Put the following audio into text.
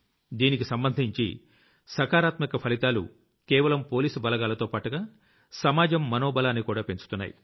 దీనికి సంబంధించి సకారాత్మక ఫలితాలు కేవలం పోలీసు బలగాలతోపాటుగా సమాజం మనోబలాన్నికూడా పెంచుతున్నాయి